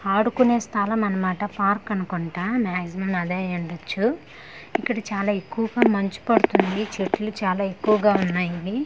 ఆడుకునే స్థలం అనమాట పార్క్ అనుకుంటా మాక్సిమం అదే అయ్యుండొచ్చు ఇక్కడ చాలా ఎక్కువగా మంచు పడుతుంది చెట్లు చాలా ఎక్కువగా ఉన్నాయి.